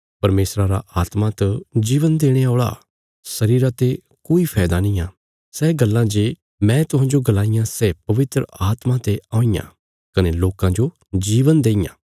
परमेशरा रा आत्मा त जीवन देणे औल़ा शरीरा ते कोई फैदा निआं सै गल्लां जे मैं तुहांजो गलाईयां सै पवित्र आत्मा ते औईयां कने लोकां जो जीवन देईयां